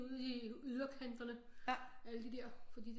Ud i yderkanterne alle de der fordi